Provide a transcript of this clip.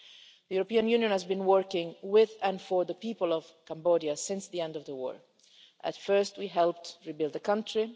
The European Union has been working with and for the people of Cambodia since the end of the war. At first we helped rebuild the country.